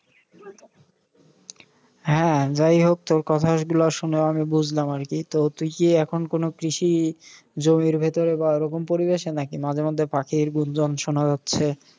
হ্যাঁ, যাই হোক, তোর কথা এগুলা শুনে আমি বুঝলাম আর কি। তো তুই কি এখন কোনও কৃষি জমির ভিতরে বা ওরকম পরিবেশে নাকি? মাঝে মাঝে পাখির গুঞ্জন শোনা যাচ্ছে।